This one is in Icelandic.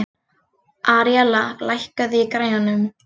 Aríella, lækkaðu í græjunum.